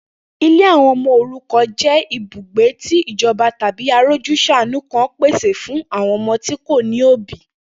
Ilé àwo̩n o̩mo̩ òrukàn jé̩ ibùgbé tí ìjo̩ba tàbí arójús̩àánú kan pèsè fún àwo̩n o̩mo̩ tí kò ní òbí